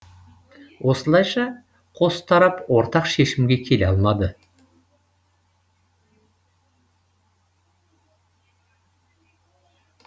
осылайша қос тарап ортақ шешімге келе алмады